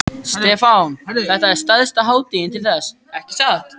Stefán: Þetta er stærsta hátíðin til þessa, ekki satt?